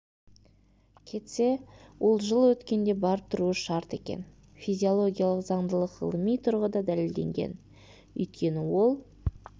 кетсе ол жыл өткенде барып тұруы шарт екен физиологиялық заңдылық ғылыми тұрғыда дәлелденген өйткені ол